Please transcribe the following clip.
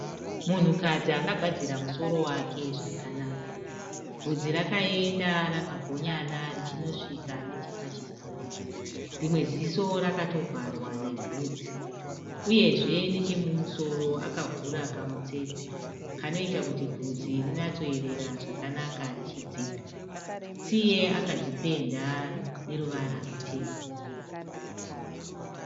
Munhukadzi akagadzira musoro wake zvakanaka. Vhudzi rakaenda rakagonyana richinosvika nechepachipfuva. Rimwe ziso rakatovharwa nevhunzi. Uyezve nechemumusoro akavhura kamutsetse, kanoita kuti vhudzi rinyatsoerera zvakanaka richidzka. Tsiye akadzipenda neruvara rutema.